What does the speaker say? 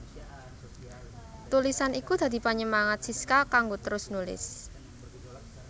Tulisan iku dadi panyemangat Siska kanggo terus nulis